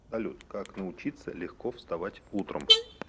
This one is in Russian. салют как научиться легко вставать утром